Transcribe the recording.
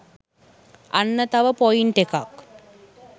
අන්න තව පොයින්ට් එකක්.